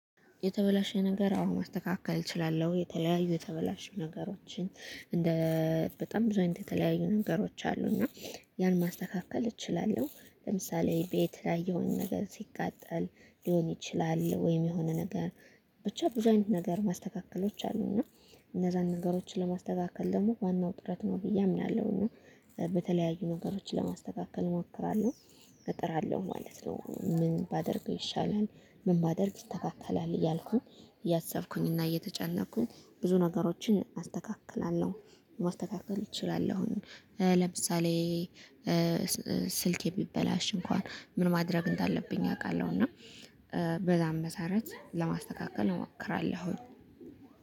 የተበላሸ ነገር አሁን ማስተካከል እችላለሁ የተለያዩ የተበላሸ ነገሮችን እንደ በጣም ብዙ አይነት የተለያዩ ነገሮች አሉ እና ያን ማስተካከል እችላለሁ። ለምሳሌ ቤት የተለያየውን ነገር ሲቃጠል ሊሆን ይችላል ወይም የሆነ ነገር ብቻ ብዙ አይነት ነገር ማስተካከሎች አሉ እና እነዛን ነገሮችን ለማስተካከል ደግሞ ዋናው ጥረት ነው ብዬ አምናለሁኝ። በተለያዩ ነገሮችን ለማስተካከል እሞክራለሁ እጥራለሁ ማለት ነው። ምን ባደርገው ይሻላል ምን ባደርግ ይስተካከላል። እያልኩኝ እያሰብኩኝ እና እየተጨነቅኩኝ ብዙ ነገሮችን አስተካክላለሁ። ማስተካከል እችላለሁኝ። ለምሳሌ ስልኬ ቢበላሽ እንኳን ምን ማድረግ እንዳለብኝ አውቃለሁ። እና በዛም መሰረት ለማስተካከል እሞክራለሁኝ።